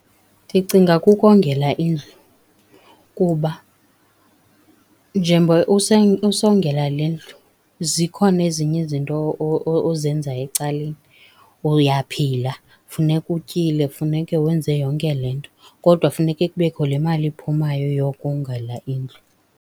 Ndicinga kukongela indlu kuba njengoba usongela le ndlu zikhona ezinye izinto ozenzayo ecaleni. Uyaphila funeka utyile, funeke wenze yonke le nto, kodwa funeke kubekho le mali iphumayo yokongela indlu.